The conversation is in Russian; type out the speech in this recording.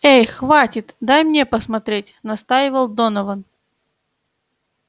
эй хватит дай мне посмотреть настаивал донован